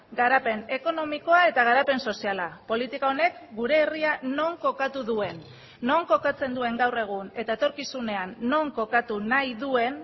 garapen ekonomikoa eta garapen soziala politika honek gure herria non kokatu duen non kokatzen duen gaur egun eta etorkizunean non kokatu nahi duen